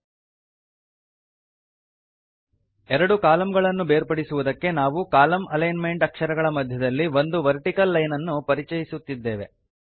right align ಆಗಿವೆ ಎರಡು ಕಾಲಂಗಳನ್ನು ಬೇರ್ಪಡಿಸುವುದಕ್ಕೆ ನಾವು ಕಾಲಂ ಅಲೈನ್ ಮೆಂಟ್ ಅಕ್ಷರಗಳ ಮಧ್ಯದಲ್ಲಿ ಒಂದು ವರ್ಟಿಕಲ್ ಲೈನನ್ನು ಪರಿಚಯಿಸುತ್ತಿದ್ದೇವೆ